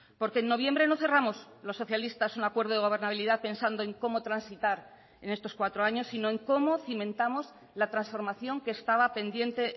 porque en noviembre no cerramos los socialistas un acuerdo de gobernabilidad pensando en cómo transitar en estos cuatro años sino en cómo cimentamos la transformación que estaba pendiente